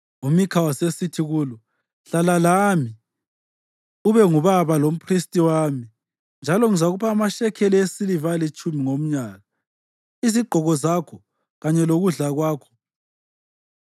UMikha wasesithi kulo, “Hlala lami ube ngubaba lomphristi wami, njalo ngizakupha amashekeli esiliva alitshumi ngomnyaka, izigqoko zakho kanye lokudla kwakho.”